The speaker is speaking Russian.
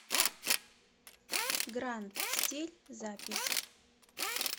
гранд стиль запись